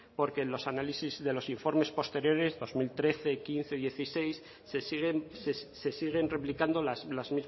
porque en los análisis de los informes posteriores dos mil trece quince y dieciséis se siguen se siguen replicando las